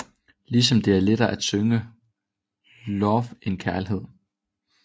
Ligesom det er lettere at synge love end kærlighed